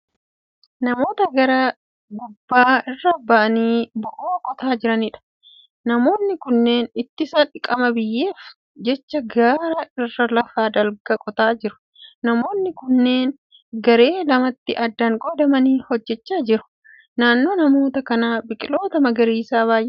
Namoota gaara gubbaa irra ba'anii bo'oo qotaa jiraniidha. Namoonni kunneen ittisa dhiqama biyyeef jecha gaara irra lafa dalga qotaa jiru. Namoonni kunneen garee lamatti addaan qoodamuun hojjechaa jiru. Naannoo namoota kanaa biqiloota magariisa baay'eetu jira.